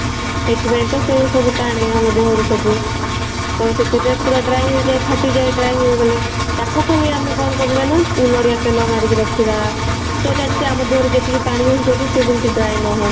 ସେଥିପାଇଁ ତ ସେ ସବୁ ଟାଣେ ଆମ ଦେହ ରୁ ସବୁ ତ ସେଥିପାଇଁ ପୁରା dry ହେଇଯାଏ ଫାଟିଯାଏ dry ହେଇଗଲେ ଟାକୁ ଖାଲି ଆମେ କଣ କରିବା ନା ନଡିଆ ତେଲ ମାରିକି ରଖିବା so that କି ଆମ ଦେହ ରେ ଯେତିକି ପଣି ଅଂସ ଅଛି ସେ ଯେମିତି dry ନ ହଉ